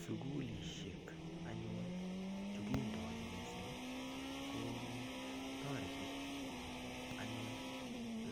Sukulishek anyun chukindon missing ko toreti anyun